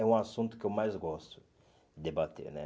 É um assunto que eu mais gosto de debater, né?